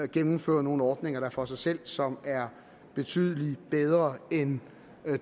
gennemfører nogle ordninger for sig selv som er betydelig bedre end